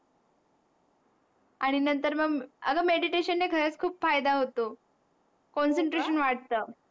आणि नंतर मग अगं Meditation ने खरंच खूप फायदा होतो. Concentration वाढत.